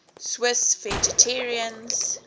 swiss vegetarians